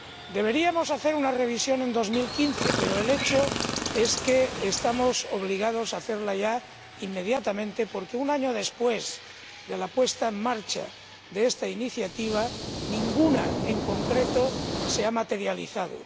Deberíamos hacer una revisión en 2015, pero el hecho es que estamos obligados a hacerla ya inmediatamente, porque, un año después de la puesta en marcha de esta iniciativa, ninguna en concreto se ha materializado.